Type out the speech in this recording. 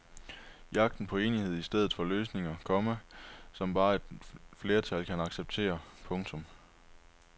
Jagten på enighed i stedet for løsninger, komma som bare et flertal kan acceptere. punktum